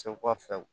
Segu ka fɛ